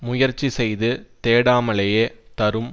முயற்சி செய்து தேடாமலேயே தரும்